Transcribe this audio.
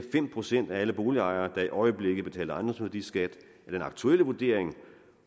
fem procent af alle boligejere der i øjeblikket betaler ejendomsværdiskat af den aktuelle vurdering